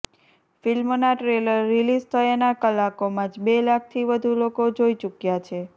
ફિલ્મના trailer release થયાના કલાકોમાં જ બે લાખથી વધુ લોકો જોઇ ચૂક્યા છે